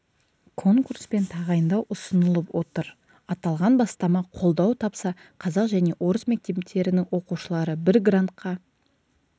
конкурспен тағайындау ұсынылып отыр аталған бастама қолдау тапса қазақ және орыс мектептерінің оқушылары бір грантқа